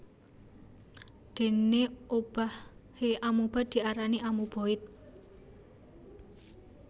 Déné obahé amoeba diarani amoeboid